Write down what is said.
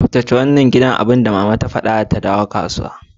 Tsaftace wannan gidan nan da nan! Abinda mama zata fada idan ta dawo daga kasuwa.